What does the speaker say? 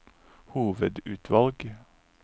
hovedutvalg